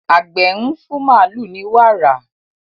Àgbẹ̀ ń fún màlúù ní wàrà.